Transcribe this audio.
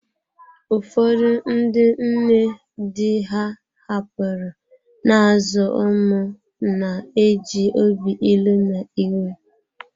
Ụfọdụ ndị nne di ha hapụrụ, na-azụ ụmụ na-eji obi ilu na iwe.